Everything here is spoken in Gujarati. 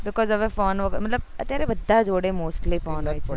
because હવે ફોન વગર મતલબ અત્યારે બધા જોડે mostly ફોન હોય